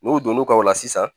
N'u donna ka o la sisan